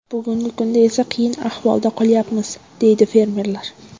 Bugungi kunda esa qiyin ahvolda qolyapmiz”, deydi fermerlar.